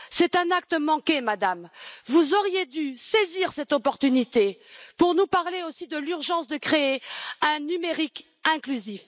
C'est un acte manqué, Madame, vous auriez dû saisir cette opportunité pour nous parler aussi de l'urgence de créer un numérique inclusif.